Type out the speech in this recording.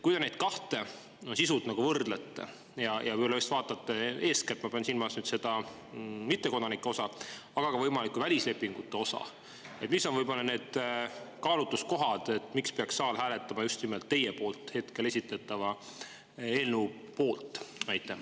Kui te neid kahte sisult võrdlete ja vaatate eeskätt seda mittekodanike osa, aga ka võimalikku välislepingute osa, mis on võib-olla need kaalutluskohad, siis miks peaks saal hääletama just nimelt selle teie esitletava eelnõu poolt?